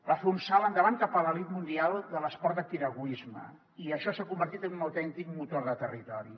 va fer un salt endavant cap a l’elit mundial de l’esport de piragüisme i això s’ha convertit en un autèntic motor de territori